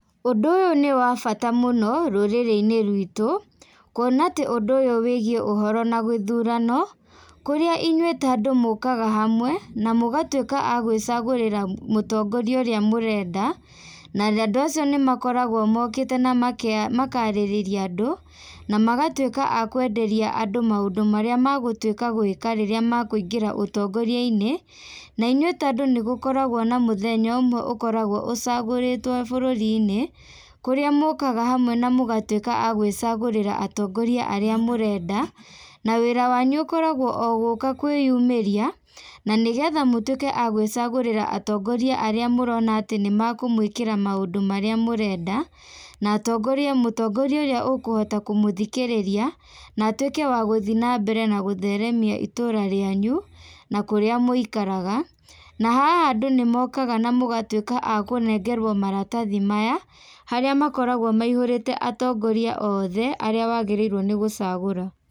Ũndũ ũyũ nĩwabata mũno, rũrĩrĩ-inĩ rwitũ, kuona atĩ ũndũ ũyũ wĩgiĩ ũhoro na gĩthurano, kũrĩa inyuĩ ta andũ mũkaga hamwe, na mũgatuĩka a gwĩcagũrĩra mũtongori ũrĩa mũrenda, na andũ acio nĩmakoragwo mokĩte na meka makarĩrĩria andũ, na magatuĩka a kwenderia andũ maũndũ marĩa magũtuĩka a gwĩka rĩrĩa makũigĩra ũtongoriainĩ, na inyuĩ ta andũ nĩgũkoragwo na mũthenya ũmwe ũkoragwo ũcagũrĩtwo bũrũrinĩ, kũrĩa mũkaga hamwe na mũgatuĩka a gwĩcagũrĩra atongoria arĩa mũrenda, na wĩra wanyu ũkoragwo o gũka kwĩyumĩriia, na nĩgetha mũtuĩke a gwĩcagũrĩra atongoria arĩa mũrona atĩ nĩmakũmwĩkĩra maũndũ marĩa mũrenda, na atongoria mũtongoria ũrĩa ũkũhota kũmũthikĩrĩria, na atuĩke wa gũthiĩ na mbere na gũtheremia itũra rĩanyu, na kũrĩa mũikaraga, na haha andũ nĩmokaga namũgatuĩka a kũnengerwo maratathi maya, harĩa makoragwo maihũrĩte atongoria othe, arĩa wagĩrĩirwo nĩgũcagũra.